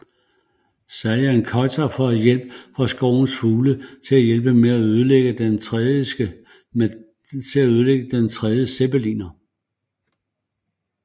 Sayan Kötör får hjælp fra skovens fugle til at hjælpe med at ødelægge den tredje zeppeliner